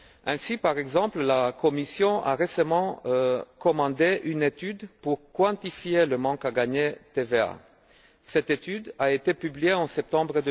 Ainsi, par exemple, la Commission a récemment commandé une étude pour quantifier le manque à gagner sur la TVA. Cette étude a été publiée en septembre